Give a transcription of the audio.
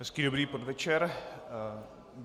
Hezký dobrý podvečer.